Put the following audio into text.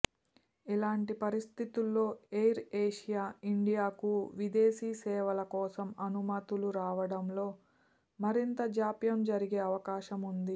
ఇలాంటి పరిస్థితుల్లో ఎయిర్ఏషియా ఇండియాకు విదేశీ సేవల కోసం అనుమతులు రావడంలో మరింత జాప్యం జరిగే అవకాశం ఉంది